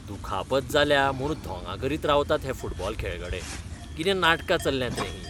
दुखापत जाल्या म्हूण धोंगां करीत रावतात हे फुटबॉल खेळगडे, कितें नाटकां चल्ल्यांत रें हीं!